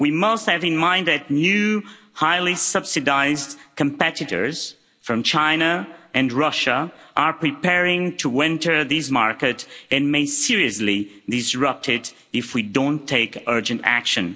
We must bear in mind that new highly subsidised competitors from China and Russia are preparing to enter these market and may seriously disrupt it if we don't take urgent action.